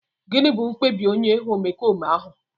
Gịnị bụ mkpebi onye omekome ahụ?